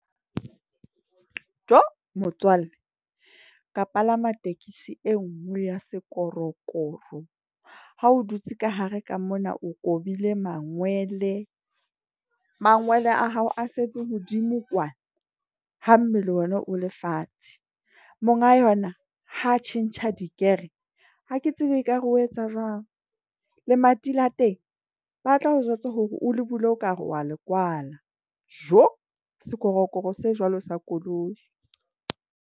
Joo motswalle ka palama tekesi e nngwe ya sekorokoro ha o dutse ka hare ka mona, o kobile mangwele, mangwele a hao a setse hodimo kwana ha mmele ona o le fatshe. Monga yona ha tjhentjha di-gear-e, ha ke tsebe ekare o etsa jwang. Lemati la teng ba tla o jwetsa hore o le bule okare wa le kwala Joo sekorokoro se jwalo sa koloi.